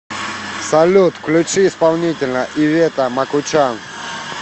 салют включи исполнителя ивета макучан